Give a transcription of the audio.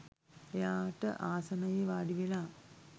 එයාට ආසනයේ වාඩිවෙලා